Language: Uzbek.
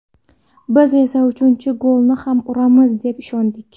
Biz esa uchinchi golni ham uramiz deb ishondik.